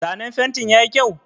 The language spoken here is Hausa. Zanen fentin yayi kyau?